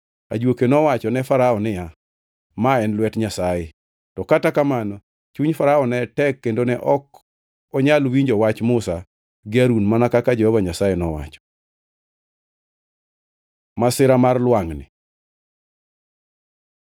Ajuoke nowacho ne Farao niya, “Ma en lwet Nyasaye!” To kata kamano chuny Farao ne tek kendo ne ok onyal winjo wach Musa gi Harun mana kaka Jehova Nyasaye nowacho. Masira mar lwangʼni